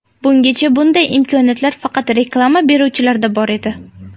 Bungacha bunday imkoniyat faqat reklama beruvchilarda bor edi.